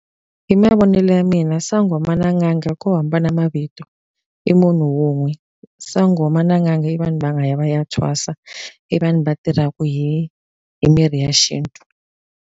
Hi mavonelo ya mina sangoma na n'anga ko hambana mavito, i munhu wun'we. Sangoma na n'anga i vanhu va nga ya va ya thwasa, i vanhu va tirhaka hi hi mirhi ya xintu.